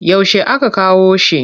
Yaushe aka kawo shi?